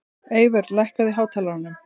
Eyvör, lækkaðu í hátalaranum.